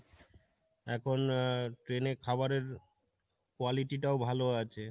এখন আর train এর খাবারের quality টাও ভালো আছে।